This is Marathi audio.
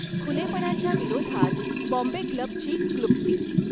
खुलेपणाच्या विरोधात बॉम्बे क्लब ची क्लृप्ती